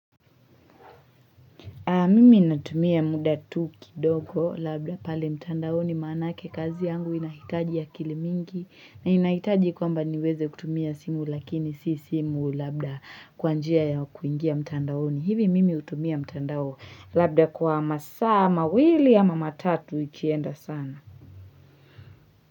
Mimi inatumia muda tukidoko labda pale mtandaoni manake kazi yangu inahitaji akilimingi na inahitaji kwamba niweze kutumia simu lakini si simu labda kwa njia ya kuingia mtandaoni hivi mimi utumia mtandao labda kwa masa mawili ama matatu ikienda sana.